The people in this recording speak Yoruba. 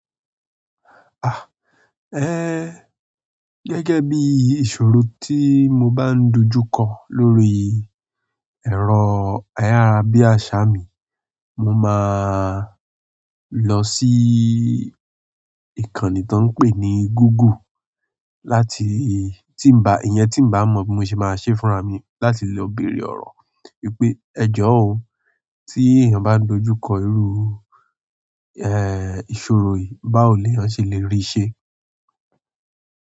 Ah, eh, gẹ́gẹ́ bí ìṣòro tí mo bá ń dojú kọ lórí ẹ̀rọ ayárabíàṣá mi, mo máa lọ sí ìkànnì tó ń pè ní Google láti tí ń ba, ìyẹn tí ń bá mọ bí mo ṣe máa ṣe fúnra mi láti lè béèrè ọ̀rọ̀ wípé ẹ jọ̀ọ́ oh, tí èèyàn bá dojú kọ irú, ẹ, ìṣòro yìí, báwo ni ọn ṣe lè rí ṣẹ?